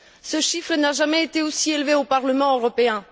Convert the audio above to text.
Ce chiffre n'a jamais été aussi élevé au Parlement européen.